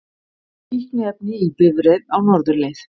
Fíkniefni í bifreið á norðurleið